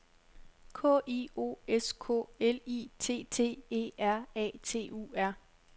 K I O S K L I T T E R A T U R